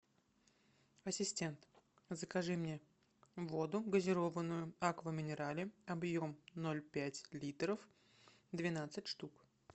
ассистент закажи мне воду газированную аква минерале объем ноль пять литров двенадцать штук